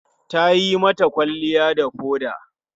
Ta yi mata kwalliya da foda.